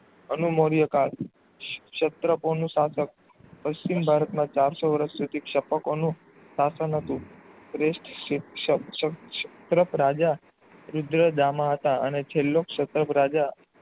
અનુમોર્ય કાળ ક્ષેત્ર પોળનું શાસન પશ્ચિમ ભારત માં ચારશો વર્ષ પ્રતિક્ષાપકો નું શાસન હતુ ક્ષેત્ર રાજા રુદ્રદામાં હતા અને છેલ્લો ક્ષેત્ર રાજા